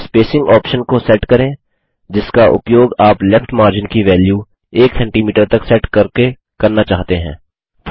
spacing option को set करें जिसका उपयोग आप लेफ्ट मार्जिन की वेल्यू 100सीएम तक सेट करके करना चाहते हैं